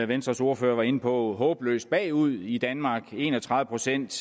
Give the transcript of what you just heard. venstres ordfører var inde på håbløst bagud i danmark hvor en og tredive procent